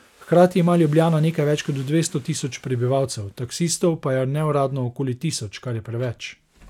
Hkrati ima Ljubljana nekaj več kot dvesto tisoč prebivalcev, taksistov pa je neuradno okoli tisoč, kar je preveč.